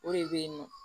O de bɛ yen nɔ